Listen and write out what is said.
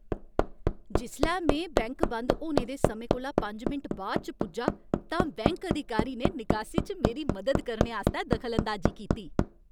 जिसलै में बैंक बंद होने दे समें कोला पंज मिंट बाद च पुज्जा तां बैंक अधिकारी ने निकासी च मेरी मदद करने आस्तै दखलअंदाजी कीती।